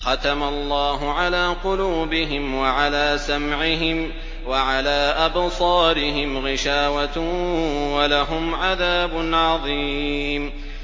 خَتَمَ اللَّهُ عَلَىٰ قُلُوبِهِمْ وَعَلَىٰ سَمْعِهِمْ ۖ وَعَلَىٰ أَبْصَارِهِمْ غِشَاوَةٌ ۖ وَلَهُمْ عَذَابٌ عَظِيمٌ